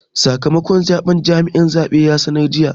Sakamakon zabe jami'in zabe ya sanar jiya.